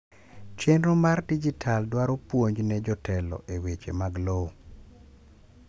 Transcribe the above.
chenro mar dijital dwaro puonj ne jotelo e weche mag lowo